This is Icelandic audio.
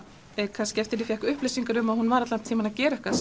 kannski eftir að ég fékk upplýsingarnar um að hún væri að gera eitthvað